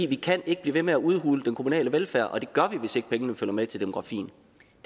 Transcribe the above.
vi kan ikke blive ved med at udhule den kommunale velfærd og det gør vi hvis ikke pengene følger med demografien